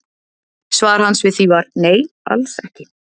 Svar hans við því var: Nei, alls ekki